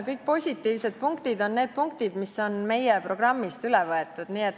Kõik positiivsed punktid on need punktid, mis on meie programmist üle võetud.